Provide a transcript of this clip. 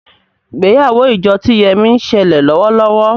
ìgbéyàwó ìjọ tí Yemi ń ṣẹlẹ lówó lówó